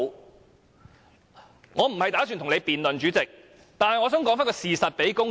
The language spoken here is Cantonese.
主席，我無意與你辯論，但我想把事實告訴公眾。